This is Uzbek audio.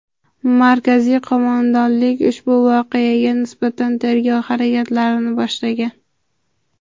Markaziy qo‘mondonlik ushbu voqeaga nisbatan tergov harakatlarini boshlagan.